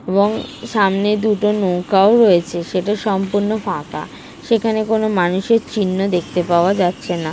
এবংসামনে দুটো নৌকাও রয়েছে সেটা সম্পূর্ণ ফাঁকা সেখানে কোন মানুষের চিহ্ন দেখতে পাওয়া যাচ্ছে না --